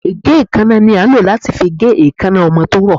Ìgé-kánná la ń lo latí fí gé èkáná ọmọ to rọ